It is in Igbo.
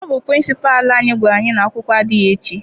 Ọ bụ Pịrịnsịpalụ anyị gwara anyị na-akwụkwọ adịghị echi.